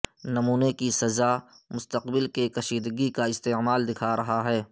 نمونے کی سزا مستقبل کے کشیدگی کا استعمال دکھا رہا ہے